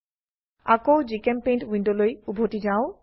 আকৌ জিচেম্পেইণ্ট উইন্ডোলৈ উভতি যাও